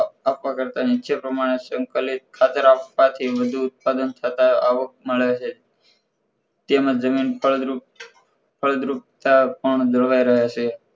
આપ આપવા કરતાં નીચે પ્રમાણે સંકલિત ખાતર આપવાથી વધુ ઉત્પાદન તથા આવક મળે છે તેમજ જમીન ફળદ્રુપતા પણ જળવાય રહે છે